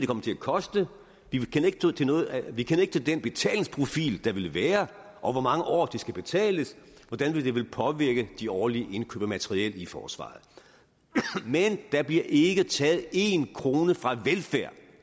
kommer til at koste vi kender ikke til den betalingsprofil der vil være over hvor mange år det skal betales og hvordan det vil påvirke de årlige indkøb af materiel i forsvaret men der bliver ikke taget én krone fra velfærd